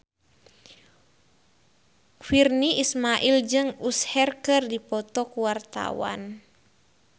Virnie Ismail jeung Usher keur dipoto ku wartawan